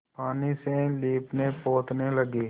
पानी से लीपनेपोतने लगी